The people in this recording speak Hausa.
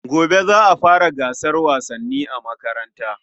Gobe za a fara gasar wasanni a makaranta.